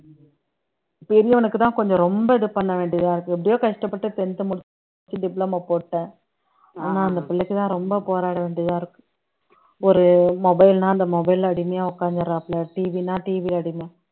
பெரியவனுக்குத்தான் கொஞ்சம் ரொம்ப இது பண்ணவேண்டியதா இருக்கு எப்படியோ கஷ்டப்பட்டு tenth முடிச்சு diploma போட்டுட்டேன் ஆனா அந்த பிள்ளைக்குதான் ரொம்ப போராட வேண்டியதா இருக்கு ஒரு mobile னா அந்த mobile ல அடிமையா உட்கார்ந்துறாப்புல TV ன்னா TV அடிமை